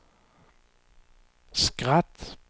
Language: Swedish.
skratt